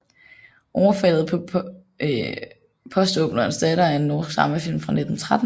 Overfaldet paa postaapnerens datter er en norsk dramafilm fra 1913